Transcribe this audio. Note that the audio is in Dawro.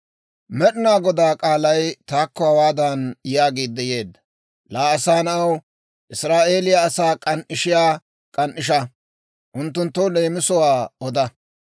«Laa asaa na'aw, Israa'eeliyaa asaa k'an"ishiyaa k'an"isha; unttunttoo leemisuwaan oda.